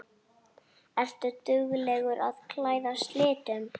Ertu dugleg að klæðast litum?